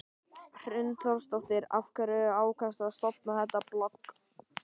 Hrund Þórsdóttir: Af hverju ákvaðstu að stofna þetta blogg?